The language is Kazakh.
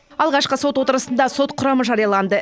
алғашқы сот отырысында сот құрамы жарияланды